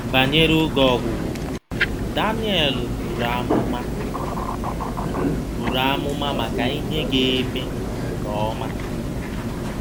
Banyere “oge ọgwụgwụ,” Danielu buru amụma buru amụma maka ihe ga-eme nke ọma.